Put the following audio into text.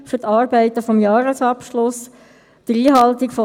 Ich zitiere sie schnell und lese sie auf Hochdeutsch vor: